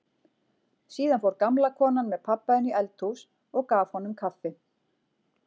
Síðan fór gamla konan með pabba inn í eldhús og gaf honum kaffi.